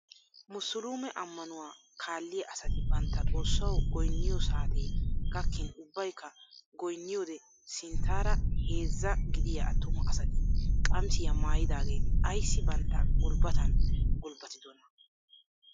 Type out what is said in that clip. Musuluume ammanuwaa kaalliyaa asati bantta xoossawu goyniyoo saatee gakkin ubbaykka goyniyoode sinttaara heezzaa gidiyaa attuma asati qamisiyaa maayidageti aysi bantta gulbbatan gulbbatidonaa?